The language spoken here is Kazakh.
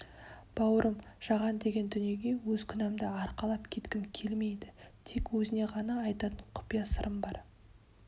бауырым жаған деген дүниеге өз күнәмды арқалап кеткім келмейді тек өзіңе ғана айтатын құпия сырым бар